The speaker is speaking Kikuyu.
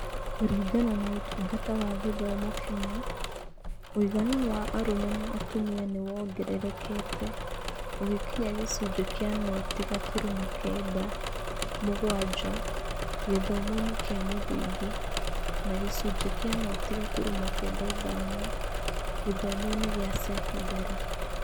Kũringana na Ũtungata wa Gĩthomo Kenya, ũigana wa arũme na atumia nĩ wongererekete ũgĩkinya gĩcunjĩ kĩa noti gaturumo kenda mũgwanja gĩthomo-inĩ kĩa mũthingi na gĩcunjĩ kĩa noti gaturumo kenda ithano gĩthomo-inĩ gĩa sekondarĩ.